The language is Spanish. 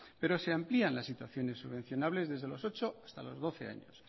pero se amplían las situaciones subvencionables desde los ocho hasta los doce años